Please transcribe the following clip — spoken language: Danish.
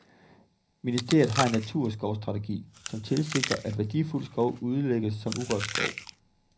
Ministeriet har en naturskovsstrategi, som tilsigter, at værdifuld skov udlægges som urørt skov.